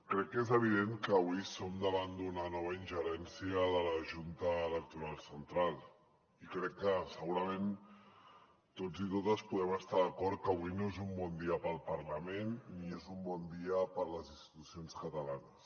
crec que és evident que avui som davant d’una nova ingerència de la junta electoral central i crec que segurament tots i totes podem estar d’acord que avui no és un bon dia per al parlament ni és un bon dia per a les institucions catalanes